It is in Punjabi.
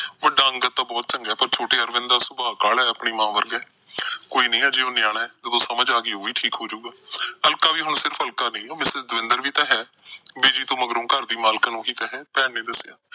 ਵੱਡਾ ਅੰਗਦ ਦਾ ਸੁਭਾਅ ਤਾਂ ਬਹੁਤ ਚੰਗਾ, ਪਰ ਛੋਟੇ ਅਰਵਿੰਦ ਦਾ ਸੁਭਾਅ ਕਾਹਲਾ ਆਪਣੀ ਮਾਂ ਵਰਗਾ। ਕੋਈ ਨੀ ਅਜੇ ਉਹ ਨਿਆਣਾ, ਜਦੋਂ ਸਮਝ ਆ ਗਈ, ਉਹ ਵੀ ਠੀਕ ਹੋਜੂਗਾ। ਅਲਕਾ ਵੀ ਹੁਣ ਸਿਰਫ ਅਲਕਾ ਨਹੀਂ, ਉਹ mistress ਦਵਿੰਦਰ ਵੀ ਤਾਂ ਹੈ। ਬਿਜੀ ਤੋਂ ਮਗਰੋਂ ਘਰ ਦੀ ਮਾਲਕਣ ਉਹੀ ਤਾਂ ਹੈ, ਭੈਣ ਨੇ ਦੱਸਿਆ।